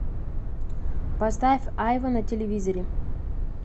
поставь айва на телевизоре